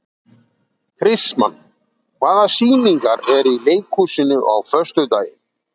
Kristmann, hvaða sýningar eru í leikhúsinu á föstudaginn?